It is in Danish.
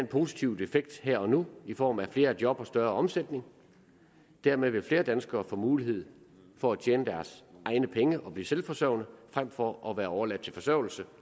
positiv effekt her og nu i form af flere job og større omsætning dermed vil flere danskere får mulighed for at tjene deres egne penge og blive selvforsørgende frem for at være overladt til forsørgelse